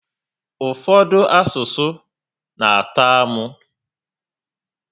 Ụfọdụ asụsụ n'atọ amụ